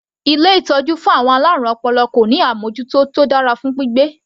Ilé ìtọ́jú fún àwọn alárùn ọpọlọ kò ní àmọ́jútó tó dára fún gbígbé.